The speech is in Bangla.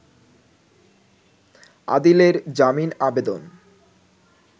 আদিলের জামিন আবেদন